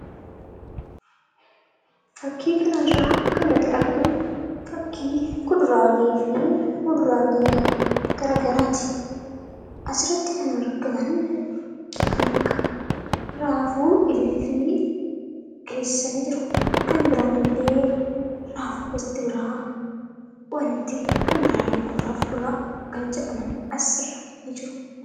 Fakkii kanarraa kan nuti arginu fakkii kuduraalee fi muduraalee garaagaraati. Asirratti kan arginu kan argaman kan akka raafuu, ilillii dhiyeessanii jiru. Kan biraan illee raafuu gosti biraa wanti kan biraallee kuduraa fi muduraa kan jedhaman ni jiru.